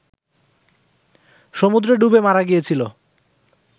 সমুদ্রে ডুবে মারা গিয়েছিল